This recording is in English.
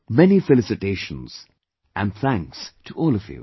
Many many felicitations and thanks to all of you